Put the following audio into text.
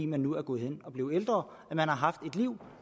man nu er gået hen og blevet ældre at man har haft et liv